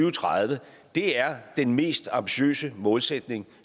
og tredive er den mest ambitiøse målsætning